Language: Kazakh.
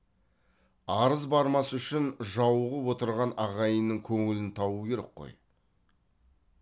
арыз бармас үшін жауығып отырған ағайынның көңілін табу керек қой